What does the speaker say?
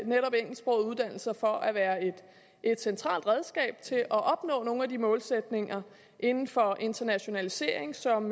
netop engelsksprogede uddannelser for at være et centralt redskab til at opnå nogle af de målsætninger inden for internationalisering som